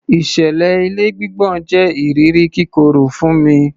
Ìṣẹ̀lẹ̀ ilé gbígbọ̀n jẹ iriri kíkorò fún mi